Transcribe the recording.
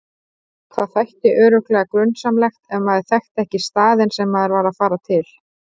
Það þætti örugglega grunsamlegt ef maður þekkti ekki staðinn sem maður var að fara til.